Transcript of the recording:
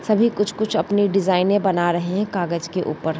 सभी कुछ कुछ अपनी डिजाइनें बना रहे हैं कागज के ऊपर।